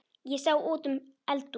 Ég sá út um eldhús